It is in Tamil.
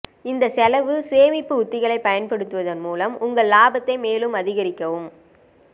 இந்த செலவு சேமிப்பு உத்திகளைப் பயன்படுத்துவதன் மூலம் உங்கள் லாபத்தை மேலும் அதிகரிக்கவும்